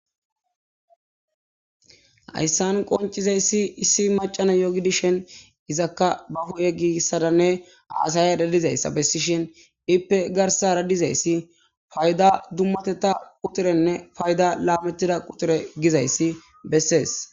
Hayssan qoncizayssi issi macana yogidishen izakka ba huye giissadanne haasaya dadizayssa bessishhin ippe garsa radizayssi fayda dummateta quturenne fayda laametida quture gizayssi bessees.